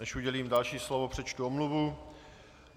Než udělím další slovo, přečtu omluvu.